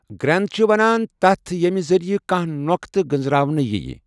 Grenade چھِ وَنان تَتھٛ ییٚمہِ ذٔریعہ کانٛہہ نۄٚقتہٕ گٔنزٛراونہٕ یِیہٕ.